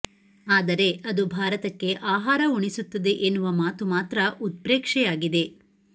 ಆದರೆ ಅದು ಭಾರತಕ್ಕೆ ಆಹಾರ ಉಣಿಸುತ್ತದೆ ಎನ್ನುವ ಮಾತು ಮಾತ್ರ ಉತ್ಪ್ರೇಕ್ಷೆಯಾಗಿದೆ